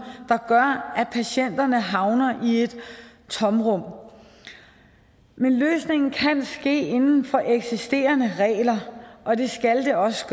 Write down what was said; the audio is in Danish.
der gør at patienterne havner i et tomrum men løsningen kan ske inden for eksisterende regler og det skal det også